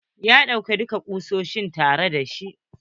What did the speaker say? Ya ɗauka dukka kusoshi tare da shi.